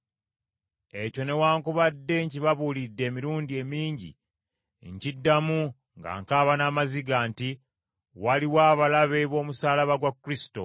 Ekyo newaakubadde nkibabuulidde emirundi emingi, nkiddamu nga nkaaba n’amaziga, nti waliwo abalabe b’omusaalaba gwa Kristo,